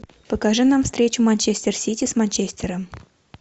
покажи нам встречу манчестер сити с манчестером